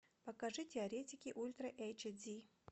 покажи теоретики ультра эйч ди